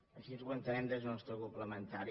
així ho entenem des del nostre grup parlamentari